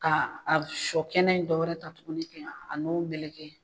Ka a sɔ kɛnɛ in dɔwɛrɛ ta tukuni kɛ a n'o meleke.